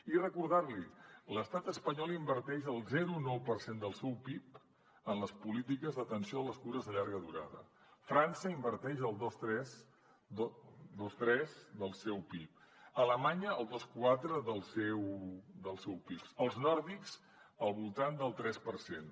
i recordar l’hi l’estat espanyol inverteix el zero coma nou per cent del seu pib en les polítiques d’atenció a les cures de llarga durada frança inverteix el dos coma tres del seu pib alemanya el dos coma quatre del seu pib els nòrdics al voltant del tres per cent